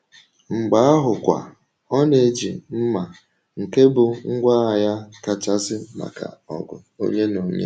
Mgbe ahụkwa, ọ na-eji mma, nke bụ ngwá agha ya kachasị maka ọgụ onye na onye.